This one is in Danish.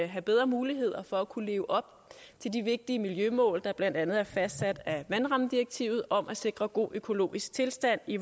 have bedre muligheder for at kunne leve op til de vigtige miljømål der blandt andet er fastsat af vandrammedirektivet om at sikre god økologisk tilstand i